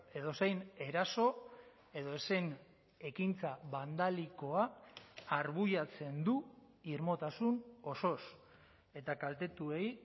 edozein eraso edozein ekintza bandalikoa arbuiatzen du irmotasun osoz eta kaltetuei